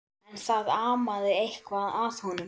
En það amaði eitthvað að honum.